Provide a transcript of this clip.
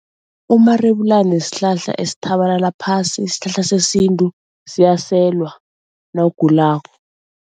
Umarebulani sihlahla esithabalala phasi. Sihlahla sesintu, siyaselwa nawugulako.